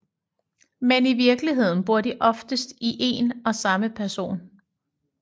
Men i virkeligheden bor de oftest i en og samme person